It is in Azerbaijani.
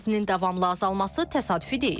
Buz kütləsinin davamlı azalması təsadüfi deyil.